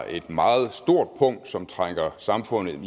et meget stort punkt som trækker samfundet